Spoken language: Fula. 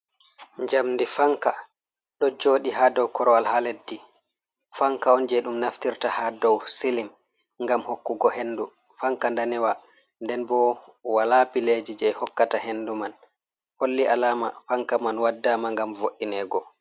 Jamdi fanka ɗo joɗi ha dow korwal ha leddi, fanka on je ɗum naftirta ha dow silim ngam hokkugo hendu, fanka danewa nden bo wala pileji je hokkata hendu man, holli alama fanka man waɗama ngam vo’ingo.